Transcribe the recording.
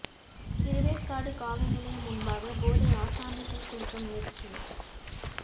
திருவேற்காடு காவல் நிலையம் முன்பாக போதை ஆசாமி தீக்குளிக்க முயற்சி